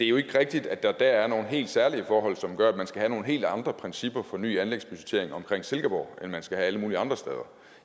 jo ikke rigtigt at der dér er nogle helt særlige forhold som gør at man skal have nogle helt andre principper for ny anlægsbudgettering omkring silkeborg end man skal have alle mulige andre steder